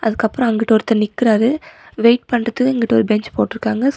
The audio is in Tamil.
அதுக்கப்றோ அங்கிட்டு ஒருத்தர் நிக்கிறாரு வெயிட் பண்ணறதக்கு இங்கிட்டு ஒரு பென்ஞ் போட்டுருக்காங்க சோ --